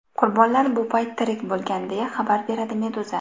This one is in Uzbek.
Qurbonlar bu payt tirik bo‘lgan, deya xabar beradi Meduza.